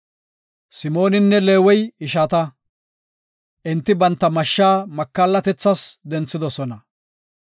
“Simooninne Leewey ishata; enti banta mashsha makallatethas denthoosona.